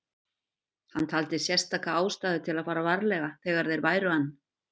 Hann taldi sérstaka ástæðu til að fara varlega þegar þeir væru ann